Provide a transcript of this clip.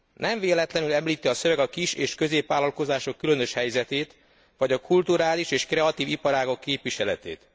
Nem véletlenül említi a szöveg a kis és középvállalkozások különös helyzetét vagy a kulturális és kreatív iparágak képviseletét.